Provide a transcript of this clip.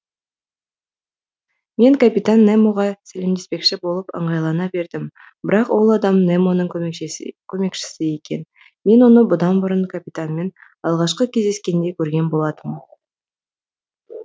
мен капитан немоға сәлемдеспекші болып ыңғайлана бердім бірақ ол адам немоның көмекшісі екен мен оны бұдан бұрын капитанмен алғашқы кездескенде көрген болатынмын